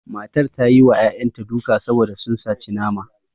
Matar ta yi wa ƴaƴanta duka saboda sun saci nama